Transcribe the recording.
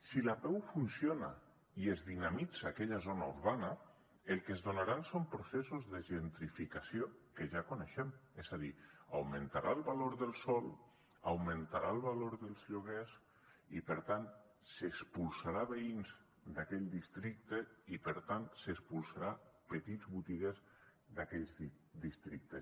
si l’apeu funciona i es dinamitza aquella zona urbana el que es donaran són processos de gentrificació que ja coneixem és a dir augmentarà el valor del sòl augmentarà el valor dels lloguers i per tant s’expulsarà veïns d’aquell districte i per tant s’expulsarà petits botiguers d’aquells districtes